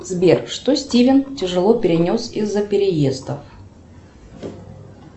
сбер что стивен тяжело перенес из за переездов